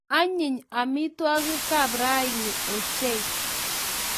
Anyinyen amitwogik kab rani ochei